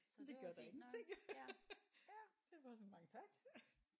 Det gør da ingenting. Det er bare sådan mange tak